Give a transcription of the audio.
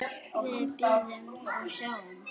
Við bíðum og sjáum.